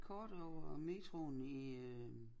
Et kort over metroen i øh